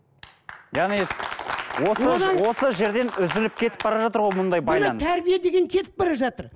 яғни осы осы жерден үзіліп кетіп бара жатыр ғой мұндай байланыс тәрбие деген кетіп бара жатыр